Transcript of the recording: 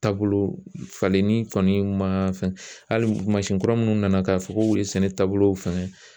Taabolo falenni kɔni ma fɛn hali mansin kura minnu nana, k'a fɔ k'olu ye sɛnɛ taabolow fɛngɛ.